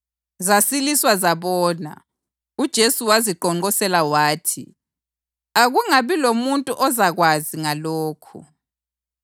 zasiliswa zabona. UJesu waziqonqosela wathi, “Akungabi lomuntu ozakwazi ngalokhu.”